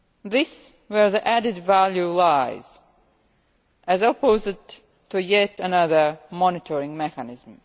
This is where the added value lies as opposed to yet another monitoring mechanism.